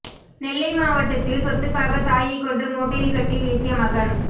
நெல்லை மாவட்டத்தில் சொத்துக்காக தாயை கொன்று மூட்டையில் கட்டி வீசிய மகன்